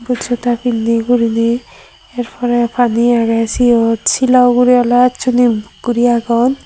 but joda pinney guriney ekkorey pani agey siot silo ugurey oley acchuney buk guri agon.